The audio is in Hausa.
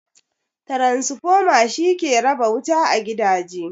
Transformer shi ke raba wuta ga gidaje.